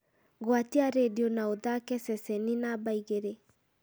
gwatia rĩndiũ na ũthaake ceceni namba ĩgĩrĩ